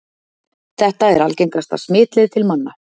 Þetta er algengasta smitleið til manna.